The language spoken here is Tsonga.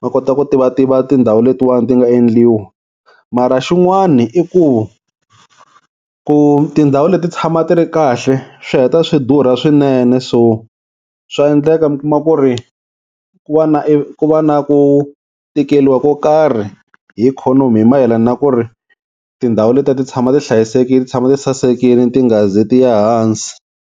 ma kota ku tivativa tindhawu letiwani ti nga endliwa. Mara xin'wani i ku ku tindhawu leti ti tshama ti ri kahle swi heta swi durha swinene so swa endleka mi kuma ku ri ku va na ku va na ku tikeliwa ko karhi hi ikhonomi, hi mayelana na ku ri tindhawu letiya ti tshama ti hlayisekile ti tshama ti sasekile ti nga ze tiya ehansi.